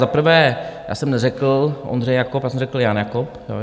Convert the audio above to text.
Za prvé já jsem neřekl Ondřej Jakob, já jsem řekl Jan Jakob.